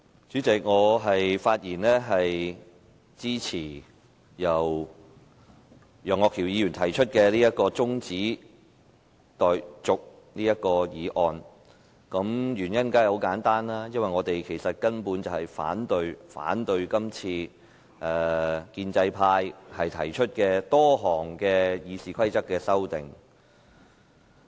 主席，我發言支持由楊岳橋議員提出的中止待續議案。原因很簡單，因為我們根本反對建制派提出多項《議事規則》的修訂。